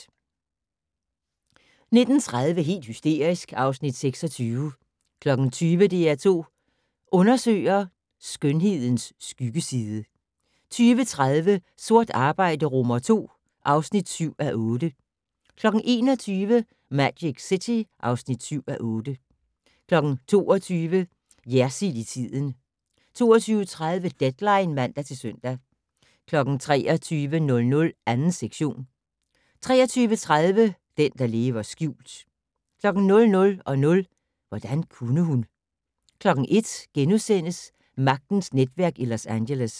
19:30: Helt hysterisk (Afs. 26) 20:00: DR2 Undersøger: Skønhedens skyggeside 20:30: Sort arbejde II (7:8) 21:00: Magic City (7:8) 22:00: Jersild i tiden 22:30: Deadline (man-søn) 23:00: 2. sektion 23:30: Den, der lever skjult 00:00: Hvordan kunne hun? 01:00: Magtens netværk i Los Angeles *